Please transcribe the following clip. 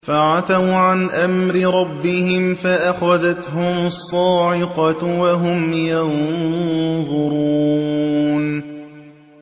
فَعَتَوْا عَنْ أَمْرِ رَبِّهِمْ فَأَخَذَتْهُمُ الصَّاعِقَةُ وَهُمْ يَنظُرُونَ